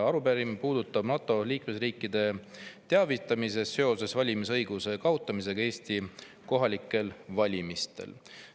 Arupärimine puudutab NATO liikmesriikide teavitamist seoses valimisõiguse kaotamisega Eesti kohalikel valimistel.